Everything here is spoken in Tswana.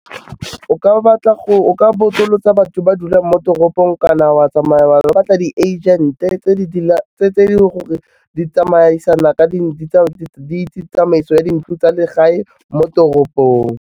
O ka botsolotsa batho ba dulang mo toropong ka na wa tsamaya wa lo batla di-agent-e tse tse e leng gore di tsamaisana di itse tsamaiso ya dintlo tsa legae mo toropong.